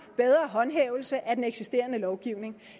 bedre håndhævelse af den eksisterende lovgivning